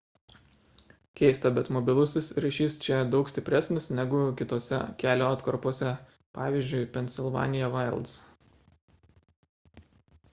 keista bet mobilusis ryšis čia daug stipresnis negu kitose kelio atkarpose pvz. pennsylvania wilds